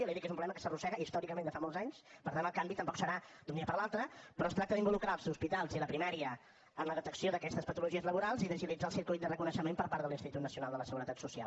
li he dit que és un problema que s’arrossega històricament de fa molts anys per tant el canvi tampoc serà d’un dia per l’altre però es tracta d’involucrar els hospitals i la primària en la detecció d’aquestes patologies laborals i d’agilitzar el circuit de reconeixement per part de l’institut nacional de la seguretat social